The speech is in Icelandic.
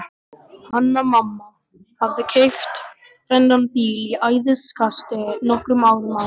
Hanna-Mamma hafði keypt þennan bíl í æðiskasti nokkrum árum áður.